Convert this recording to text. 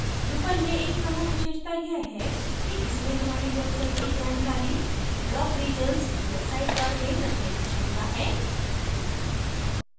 drupal में एक प्रमुख विशेषता यह है कि इसमें हमारी website की जानकारी block regions या sidebar में रखने की क्षमता है